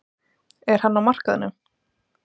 Er hann á markaðnum?